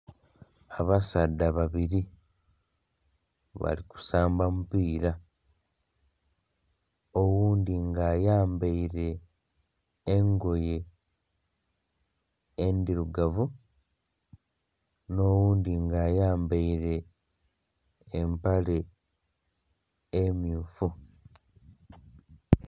Abasaadha babiri bali kusamba mupira, oghundhi nga ayambaire engoye endhirugavu nho oghundhi nga ayambaire empale emmyufu.